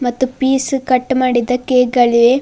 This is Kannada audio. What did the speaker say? ಮತ್ತು ಪೀಸ್ ಕಟ್ ಮಾಡಿದ್ದ ಕೇಕ್ ಗಳಿವೆ.